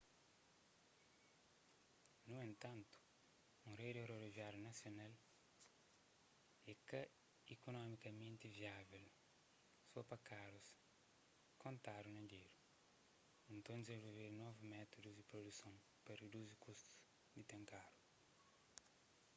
nu entantu un redi rodoviáriu nasional é ka ikunomikamenti viável só pa karus kontadu na dédu nton ta dizenvolvedu novus métudus di produson pa riduzi kustu di ten karu